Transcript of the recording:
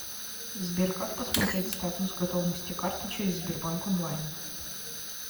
сбер как посмотреть статус готовности карты через сбербанк онлайн